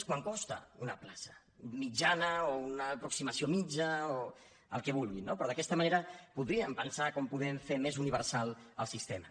és quant costa una plaça mitjana o una aproximació mitjana o el que vulgui no però d’aquesta manera podríem pensar com podem fer més universal el sistema